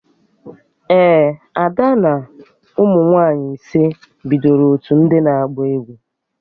Ee, Ada na ụmụ nwaanyị ise bidoro otu ndị na-agba egwu